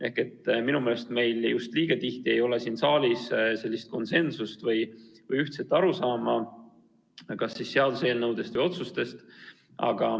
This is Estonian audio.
Ehk minu meelest meil siin saalis ei ole just liiga tihti konsensust või ühtset arusaama kas seaduseelnõudest või otsustest.